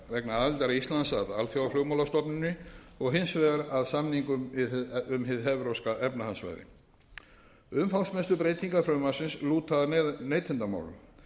vegna aðildar íslands að alþjóðaflugmálastofnuninni og hins vegar að samningnum um hið evrópska efnahagssvæði umfangsmestu breytingar frumvarpsins lúta að neytendamálum